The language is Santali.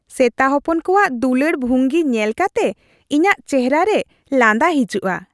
ᱥᱮᱛᱟ ᱦᱚᱯᱚᱱ ᱠᱚᱣᱟᱜ ᱫᱩᱞᱟᱹᱲ ᱵᱦᱝᱜᱤ ᱧᱮᱞ ᱠᱟᱛᱮ ᱤᱧᱟᱹᱜ ᱪᱮᱦᱮᱨᱟ ᱨᱮ ᱞᱟᱸᱫᱟ ᱦᱤᱡᱩᱜᱼᱟ ᱾